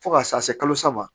Fo ka taa se kalo saba ma